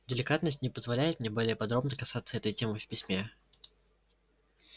деликатность не позволяет мне более подробно касаться этой темы в письме